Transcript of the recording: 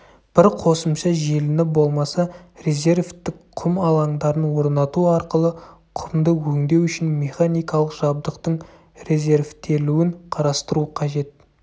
бір қосымша желіні болмаса резервтік құм алаңдарын орнату арқылы құмды өңдеу үшін механикалық жабдықтың резервтелуін қарастыру қажет